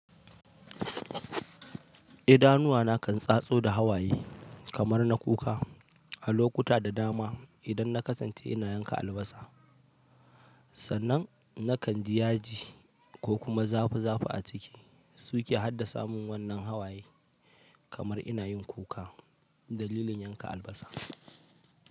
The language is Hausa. Idanuwa na kan tsatso da hawaye kamar na kuka a lokuta da dama idan na kasance ina yanka albasa. Sannan na kan ji yaji ko kuma zafi zafi a ciki, suke haddasa mun wannan hawaye kamar ina yin kuka dalilin yanka albasa.